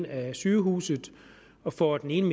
af sygehuset og får den ene